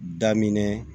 Daminɛ